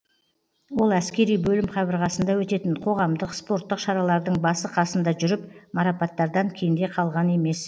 ол әскери бөлім қабырғасында өтетін қоғамдық спорттық шаралардың басы қасында жүріп марапаттардан кенде қалған емес